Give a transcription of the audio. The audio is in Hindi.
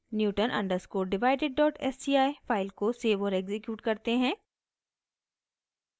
newton underscore divided dot sci file को सेव और एक्सिक्यूट करते हैं